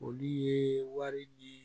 Olu ye wari di